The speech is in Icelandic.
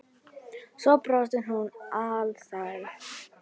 Svo brosir hún alsæl.